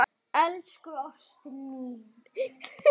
Elsku ástin mín.